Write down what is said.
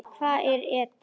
Hvað er ETA?